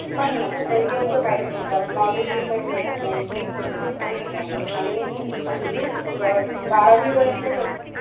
नाही ना गं career तर काहीचं नाही कारण knowledge ही काही भेटत नाही काहीच नाही आणि at least बारावी पर्यंत तरी